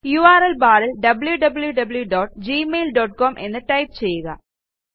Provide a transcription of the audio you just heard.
URL ബാറിൽ wwwgmailcom എന്ന് type ചെയ്യുക